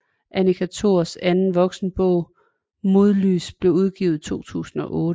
Annika Thors anden voksenbog Modlys blev udgivet i 2008